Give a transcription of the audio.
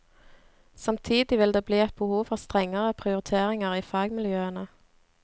Samtidig vil det bli et behov for strengere prioriteringer i fagmiljøene.